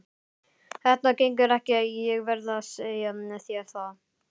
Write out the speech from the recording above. Þetta gengur ekki, ég verð að segja þér það.